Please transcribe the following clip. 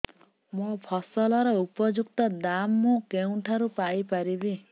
ମୋ ଫସଲର ଉପଯୁକ୍ତ ଦାମ୍ ମୁଁ କେଉଁଠାରୁ ପାଇ ପାରିବି